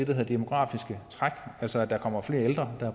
det demografiske træk altså at der kommer flere ældre at